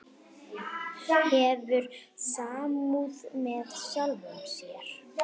Hefur samúð með sjálfum sér.